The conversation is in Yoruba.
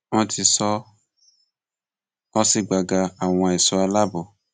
wọn ti sọ ọ sí gbàgà àwọn èso alaabo